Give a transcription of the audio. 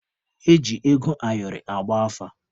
Eji ego ayọrị agba afa.